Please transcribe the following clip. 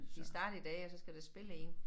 De er startet i dag og så skal der spille 1